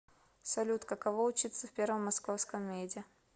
салют каково учиться в первом московском меде